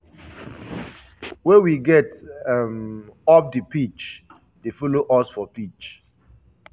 wey we get um off di pitch dey follow us for pitch.